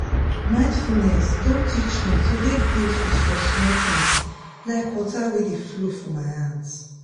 mindfulness don teach me to dey grateful for small things like water wey dey flow for my hands